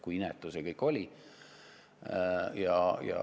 Kui inetu see kõik oli!